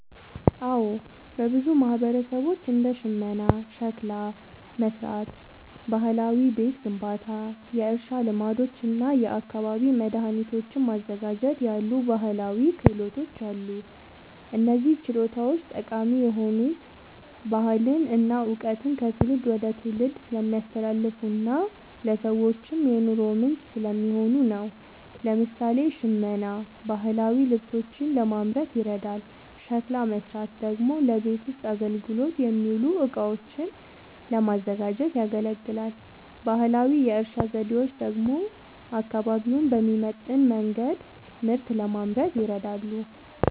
አዎ፣ በብዙ ማህበረሰቦች እንደ ሽመና፣ ሸክላ መሥራት፣ ባህላዊ ቤት ግንባታ፣ የእርሻ ልማዶች እና የአካባቢ መድኃኒቶችን ማዘጋጀት ያሉ ባህላዊ ክህሎቶች አሉ። እነዚህ ችሎታዎች ጠቃሚ የሆኑት ባህልን እና እውቀትን ከትውልድ ወደ ትውልድ ስለሚያስተላልፉና ለሰዎችም የኑሮ ምንጭ ስለሚሆኑ ነው። ለምሳሌ፣ ሽመና ባህላዊ ልብሶችን ለማምረት ይረዳል፤ ሸክላ መሥራት ደግሞ ለቤት ውስጥ አገልግሎት የሚውሉ እቃዎችን ለማዘጋጀት ያገለግላል። ባህላዊ የእርሻ ዘዴዎች ደግሞ አካባቢውን በሚመጥን መንገድ ምርት ለማምረት ይረዳሉ።